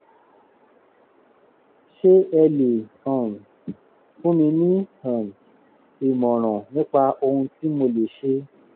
ṣé ẹ lè um fún mi ní um ìmọ̀ràn nípa ohun tí mo lè ṣe?